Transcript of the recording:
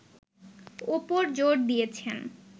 ওপর জোর দিয়েছেন